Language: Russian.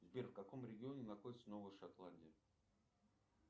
сбер в каком регионе находится новая шотландия